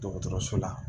Dɔgɔtɔrɔso la